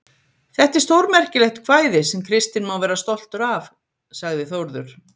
Þetta er stórmerkilegt kvæði, sem Kristinn má vera stoltur af, sagði Þórður.